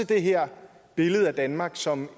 det her billede af danmark som